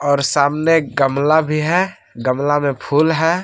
और सामने गमला भी है गमला में फूल है।